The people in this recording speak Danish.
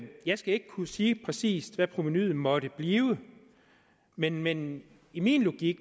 jeg skal ikke kunne sige præcis hvad provenuet måtte blive men men i min logik